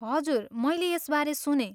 हजुर, मैले यसबारे सुनेँ।